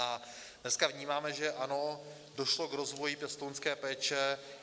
A dneska vnímáme, že ano, došlo k rozvoji pěstounské péče.